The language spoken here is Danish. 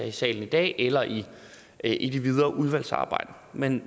i salen i dag eller i i det videre udvalgsarbejde men